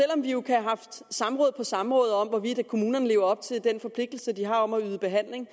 om vi jo har haft samråd på samråd om hvorvidt kommunerne lever op til den forpligtelse de har om at yde behandling